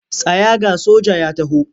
Tsaya ga soja ya taho!